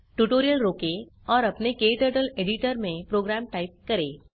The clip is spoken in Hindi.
ट्यूटोरियल रोकें और अपने क्टर्टल एडिटर में प्रोग्राम टाइप करें